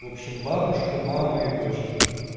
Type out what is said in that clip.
в общем бабушка мама и дочки